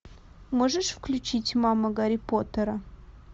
можешь включить мама гарри поттера